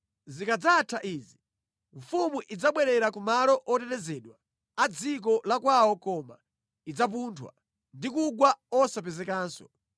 Zikadzatha izi, mfumu idzabwerera ku malo otetezedwa a dziko la kwawo koma idzapunthwa ndi kugwa osapezekanso.